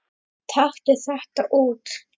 Taktu þetta út